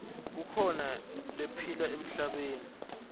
kukhona lephila emhlabeni